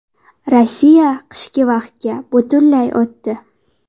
Rossiya qishki vaqtga butunlay o‘tdi.